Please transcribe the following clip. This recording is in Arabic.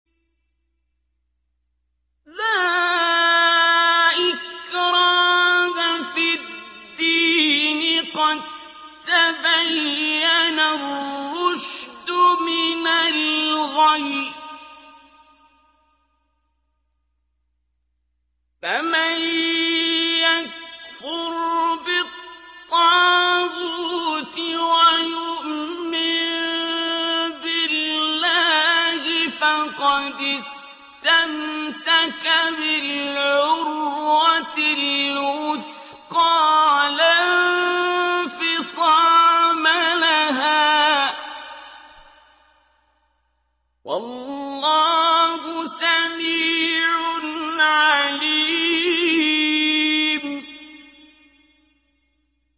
لَا إِكْرَاهَ فِي الدِّينِ ۖ قَد تَّبَيَّنَ الرُّشْدُ مِنَ الْغَيِّ ۚ فَمَن يَكْفُرْ بِالطَّاغُوتِ وَيُؤْمِن بِاللَّهِ فَقَدِ اسْتَمْسَكَ بِالْعُرْوَةِ الْوُثْقَىٰ لَا انفِصَامَ لَهَا ۗ وَاللَّهُ سَمِيعٌ عَلِيمٌ